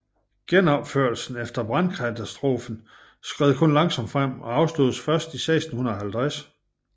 Genopførelsen efter brandkatastrofen skred kun langsomt frem og afsluttedes først i 1650